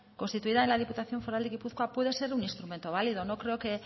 constituida en la diputación foral de gipuzkoa puede ser un instrumento válido no creo que